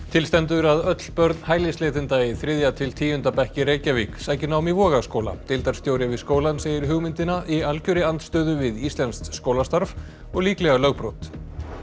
til stendur að öll börn hælisleitenda í þriðja til tíunda bekk í Reykjavík sæki nám í Vogaskóla deildarstjóri við skólann segir hugmyndina í algjörri andstöðu við íslenskt skólastarf og líklega lögbrot